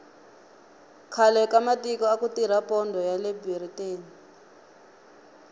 khale ka matiko aku tirha pondho yale biriteni